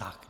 Tak.